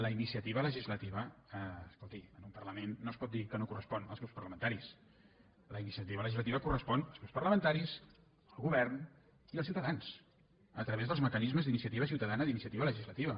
la iniciativa legislativa escolti en un parlament no es pot dir que no correspon als grups parlamentaris la iniciativa legislativa correspon als grups parlamenta·ris al govern i als ciutadans a través dels mecanismes d’iniciativa ciutadana d’iniciativa legislativa